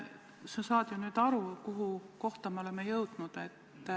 Sa saad ju aru, kuhu kohta me oleme jõudnud.